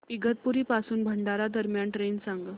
इगतपुरी पासून भंडारा दरम्यान ट्रेन सांगा